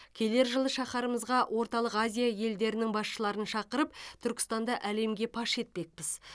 келер жылы шаһарымызға орталық азия елдерінің басшыларын шақырып түркістанды әлемге паш етпекпіз